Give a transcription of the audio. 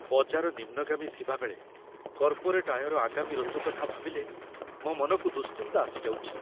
ବଜାର ନିମ୍ନଗାମୀ ଥିବାବେଳେ, କର୍ପୋରେଟ୍ ଆୟର ଆଗାମୀ ଋତୁ କଥା ଭାବିଲେ ମୋ ମନକୁ ଦୁଶ୍ଚିନ୍ତା ଆସିଯାଉଛି।